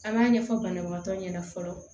An b'a ɲɛfɔ banabaatɔ ɲɛna fɔlɔ